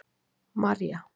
Marja